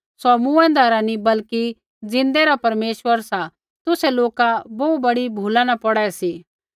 सौ मूँऐंदै रा नी बल्कि ज़िन्दै रा परमेश्वर सा तुसै लोका बोहू बड़ी भूला न पौड़ै सी